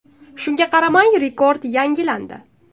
Shunga qaramay, rekord yangilandi.